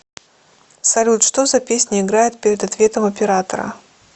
салют что за песня играет перед ответом оператора